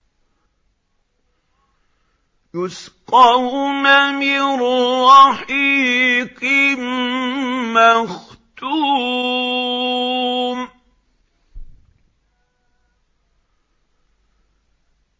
يُسْقَوْنَ مِن رَّحِيقٍ مَّخْتُومٍ